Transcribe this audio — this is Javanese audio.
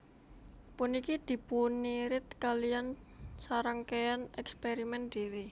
Puniki dipunirid kaliyan sarangkéyan èkspèrimèn dhiri